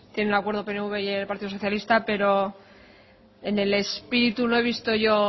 tienen acuerdo el pnv y el partido socialista pero en el espíritu no he visto yo